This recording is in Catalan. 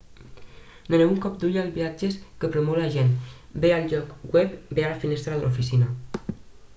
doneu un cop d'ull als viatges que promou l'agent bé al lloc web bé a la finestra de l'oficina